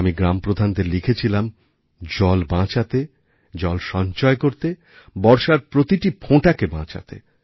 আমি গ্রামপ্রধানদের লিখেছিলাম জল বাচাঁতে জল সঞ্চয় করতে বর্ষার প্রতিটি ফোঁটাকে বাঁচাতে